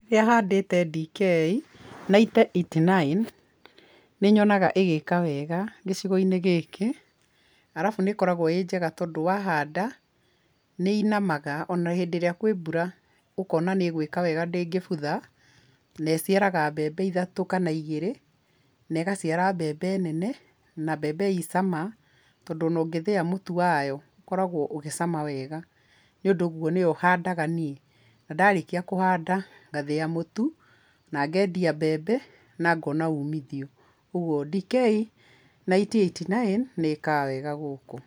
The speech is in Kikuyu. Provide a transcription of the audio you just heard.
Rĩrĩa handĩte DK ninety eighty nine, nĩnyonaga ĩgĩka wega gĩcigo-inĩ gĩkĩ, arabu nĩkoragwo ĩ njega tondũ wahanda, nĩĩnamaga, o na hĩndĩ ĩrĩa kwĩ mbura ũkona nĩ ĩgwĩka wega ndĩngĩbutha na ĩciaraga mbembe ithatũ kana igĩrĩ, na ĩgaciara mbembe nene, na mbembe i cama, tondũ o na ũngĩthĩa mũtu wayo, ũkoragwo ũgĩcama wega, nĩũndũ ũguo nĩyo handaga niĩ, na ndarikia kũhanda, ngathĩa mũtu, na ngendia mbembe, na ngona umithio, ũguo DK ninety eighty nine, nĩĩkaga wega gũkũ.